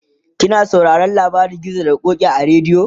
kina sauraron labarin gizo da ƙoki a radio?